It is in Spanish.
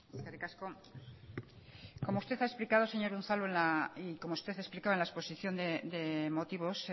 eskerrik asko como usted ha explicado señor unzalu y como usted ha explicado en la exposición de motivos